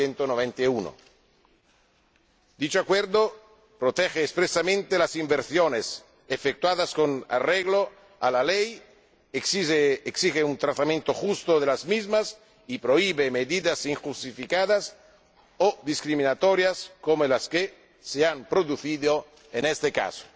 1991. Dicho Acuerdo protege expresamente las inversiones efectuadas con arreglo a la ley, exige un tratamiento justo de las mismas y prohíbe medidas injustificadas o discriminatorias como las que se han producido en este caso.